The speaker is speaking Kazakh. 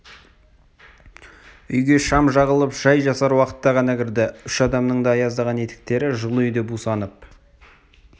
үйге шам жағылып шай жасар уақытта ғана кірді үш адамның да аяздаған етіктері жылы үйде бусанып